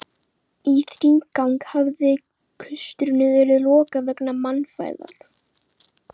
Í þrígang hefði klaustrinu verið lokað vegna mannfæðar.